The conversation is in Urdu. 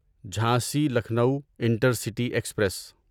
Jhansi Lucknow intercity express